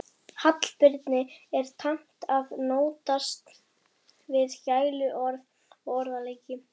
Hallbirni er tamt að notast við gæluorð og orðaleiki